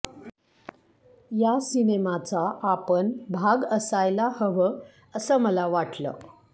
या सिनेमाचा आपण भाग असायला हवं असं मला वाटलं